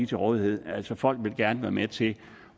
til rådighed altså folk vil gerne være med til